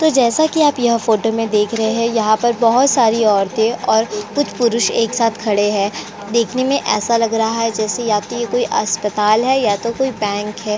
तो जैसा कि आप यह फोटो में देख रहे हैं यहाँ पर बोहोत सारी औरतें और कुछ पुरुष एक साथ खड़े हैं। देखने में ऐसा लग रहा है जैसे या तो ये कोई अस्पताल है या तो कोई बँक है।